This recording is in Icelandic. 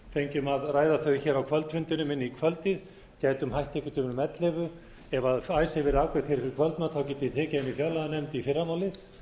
fengjum að ræða taki á kvöldfundinum inn í kvöldið gætum hætt einhvern tíma um ellefu ef icesave væri afgreitt fyrir kvöldmat gætum við tekið það inn í fjárlaganefnd í fyrramálið